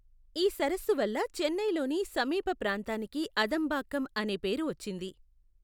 ఈ సరస్సు వల్ల చెన్నైలోని సమీప ప్రాంతానికి అదంబాక్కం అనే పేరు వచ్చింది.